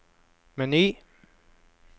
meny